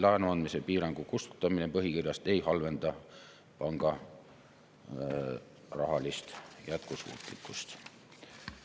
Laenu andmise piirangu kustutamine põhikirjast ei halvenda panga rahalist jätkusuutlikkust.